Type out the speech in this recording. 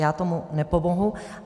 Já tomu nepomohu.